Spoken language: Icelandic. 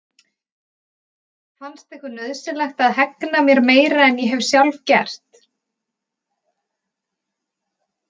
Fannst ykkur nauðsynlegt að hegna mér meira en ég hef sjálf gert?